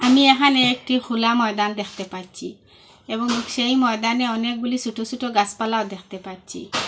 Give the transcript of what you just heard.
আমি এহানে একটি খোলা ময়দান দেখতে পারছি এবং সেই ময়দানে অনেকগুলি ছোট ছোট গাছপালাও দেখতে পারছি।